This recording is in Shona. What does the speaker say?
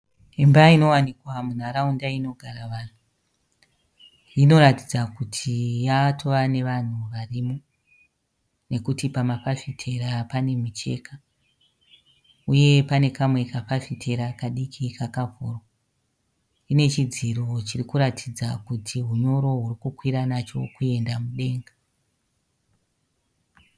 Imba inovanikwa munharaunda inogara wanhu inoratidza kuti yatova nevanhu varimo nekuti pamafafitera panemucheka uye pane kamwe kafafitera kadiki kakavhurwa ine chidziro chiri kuratidza kuti hunyoro huri kukwira nacho huchienda kudenga